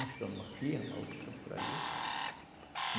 Uns estão em uma firma, outros estão por ali.